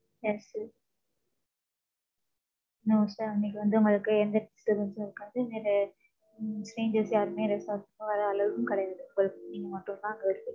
No sir அன்னைக்கு வந்து, உங்களுக்கு, எந்த disturbance உம் இருக்காது. வேற உம் strangers யாருமே, resort க்கு வர allowed உம் கிடையாது. உங்களுக்கு நீங்க மட்டும்தான் அங்க இருப்பிங்க